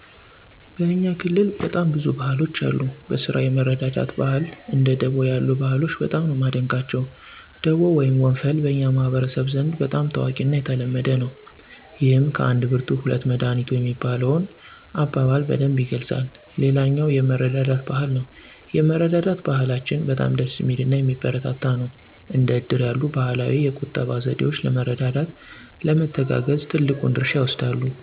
በእኛ ክልል በጣም ብዙ ባህሎች አሉ። በስራ የመረዳዳት ባህል እንደ ደቦ ያሉ ባህሎች በጣም ነው ማደንቀቸው። ደቦ ወይም ወንፈል በኛ ማህበረሰብ ዘንድ በጣም ታዋቂና የተለመደ ነው። ይህም ከአንድ ብርቱ ሁለት መዳኒቱ የሚለውን አበባል በደንብ ይገልፃል። ሌላኛው የመረዳዳት ባህል ነው የመረዳዳት ባህላችን በጣም ደስ ሚልናየሚበረታታ ነው። እንደ እድር ያሉ ባህላዊ የቁጠባ ዘዴወች ለመረዳዳት፣ ለመተጋገዝ ትልቁን ድርሻ ይወስዳሉ።